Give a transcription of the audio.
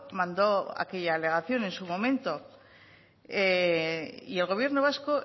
mando aquella alegación en su momento y el gobierno vasco